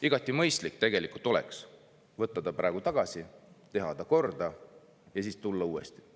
Igati mõistlik oleks võtta see praegu tagasi, teha korda ja tulla siis uuesti.